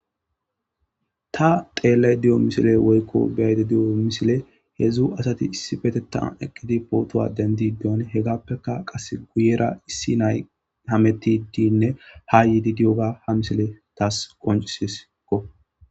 Ta xeellay di'o misile woykko biyayde di'o misile hedzdzu asati issi petetan eqqidi pootowa dendi deon hegappeka qas guyera issi nay hametidinne ha yiidi di'oga ha misile taas qoncisiskko.